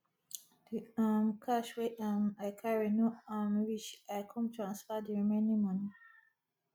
di um cash wey um i carry no um reach i come transfer di remaining moni